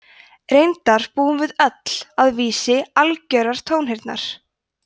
reyndar búum við öll að vísi algjörrar tónheyrnar